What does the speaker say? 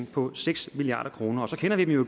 på seks milliard kroner så kender vi jo